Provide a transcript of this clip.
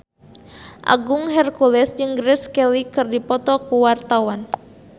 Agung Hercules jeung Grace Kelly keur dipoto ku wartawan